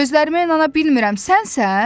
Gözlərimə inana bilmirəm, sənsən?